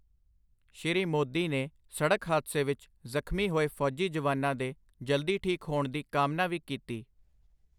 ਸ਼੍ਰੀ ਮੋਦੀ ਨੇ ਸੜਕ ਹਾਦਸੇ ਵਿੱਚ ਜ਼ਖ਼ਮੀ ਹੋਏ ਫ਼ੌਜੀ ਜਵਾਨਾਂ ਦੇ ਜਲਦੀ ਠੀਕ ਹੋਣ ਦੀ ਕਾਮਨਾ ਵੀ ਕੀਤੀ।